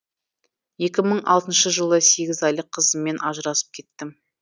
екі мың алтыншы жылы сегіз айлық қызыммен ажырасып кеттім